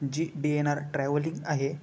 जी DNR. Travelling आहे.